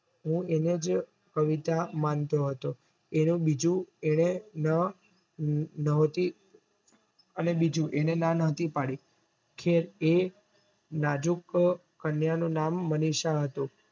હું એનેજ કવિતા માનતો હતો અને બીજું ના નોહતી પડી અને એ નાજુક કન્યા નું નામ મનીષા હતું